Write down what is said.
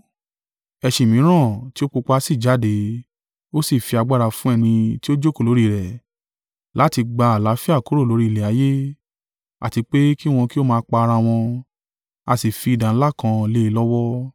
Ẹṣin mìíràn tí ó pupa sì jáde, a sì fi agbára fún ẹni tí ó jókòó lórí rẹ̀, láti gba àlàáfíà kúrò lórí ilẹ̀ ayé, àti pé kí wọn kí ó máa pa ara wọn, a sì fi idà ńlá kan lé e lọ́wọ́.